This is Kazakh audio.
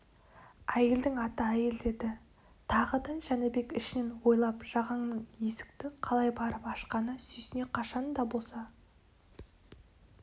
әйелдің аты әйел деді тағы да жәнібек ішінен ойлап жағанның есікті қалай барып ашқанына сүйсіне қашан да болса